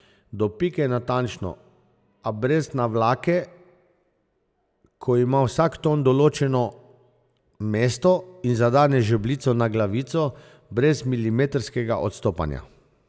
Do pike natančno, a brez navlake, ko ima vsak ton točno določeno mesto in zadane žebljico na glavico brez milimetrskega odstopanja.